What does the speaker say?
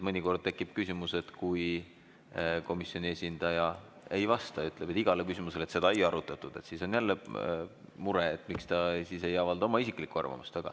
Mõnikord tekib küsimus, et kui komisjoni esindaja ei vasta ja ütleb iga küsimuse peale, et seda ei arutatud, siis on jälle mure, et miks ta siis ei avalda oma isiklikku arvamust.